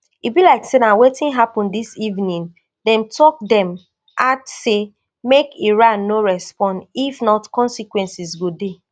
e be like say na wetin happun dis evening dem tok dem add say make iran no respond if not consequences go dey